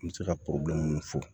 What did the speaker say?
N bɛ se ka minnu fɔ